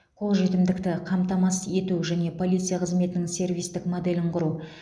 қол жетімділікті қамтамасыз ету және полиция қызметінің сервистік моделін құру